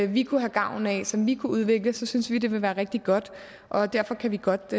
vi kunne have gavn af som vi kunne udvikle så synes vi det vil være rigtig godt og derfor kan vi godt